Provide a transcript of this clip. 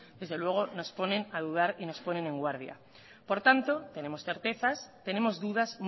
desde luego nos ponen a dudar y nos ponen en guardia por tanto tenemos certezas tenemos dudas